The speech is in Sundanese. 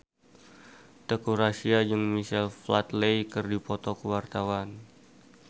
Teuku Rassya jeung Michael Flatley keur dipoto ku wartawan